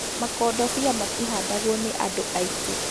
Makondobia matihandagwo nĩ andũ aingĩ